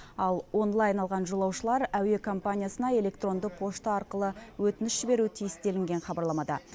ал онлайн алған жолаушылар әуе компаниясына электронды пошта арқылы өтініш жіберуі тиіс делінген хабарламада